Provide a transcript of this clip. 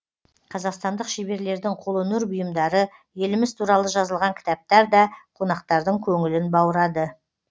қазақстандық шеберлердің қолөнер бұйымдары еліміз туралы жазылған кітаптар да қонақтардың көңілін баурады